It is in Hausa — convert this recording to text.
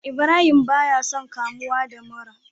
Ibrahim baya son kamuwa da mura